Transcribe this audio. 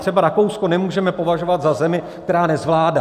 Třeba Rakousko nemůžeme považovat za zemi, která nezvládá.